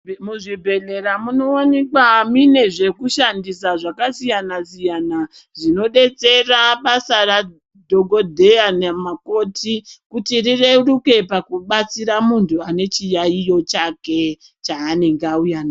Muzvibhedhlera munowanikwa mine zvekushandisa zvakasiyanasiyana zvinodetsera basa ra dhokodheya nemakoti kuti rireruke pakubatsira muntu ane chiyayiyo chake chaanenge auya nacho.